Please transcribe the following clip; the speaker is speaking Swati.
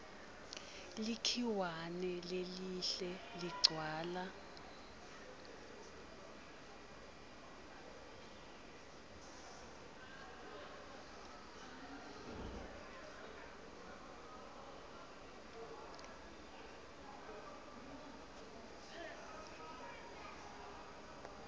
likhiwane lelihle ligcwala